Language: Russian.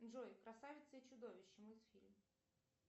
джой красавица и чудовище мультфильм